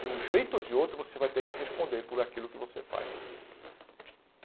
De um jeito ou de outro, você vai ter que responder por aquilo que você faz.